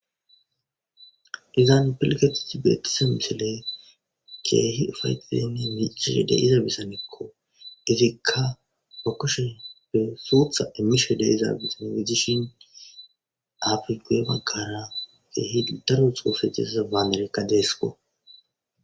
izan pilgetidi betiza misiley keehi ufaytidenni michis de izabisanekko izikka ba kushenppe sootha emisho de izaabisan idishin afri goe baggara keehi daro xoofe desaza baanerekka deesiko